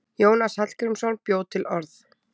Jónas Hallgrímsson bjó til orð.